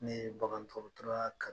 Ne ye bagan dɔgɔtɔrɔyaa ka